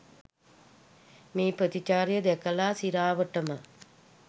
මේ ප්‍රතිචාරය දැකලා සිරාවටම.